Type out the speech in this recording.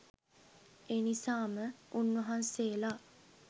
එනිසාම උන්වහන්සේලා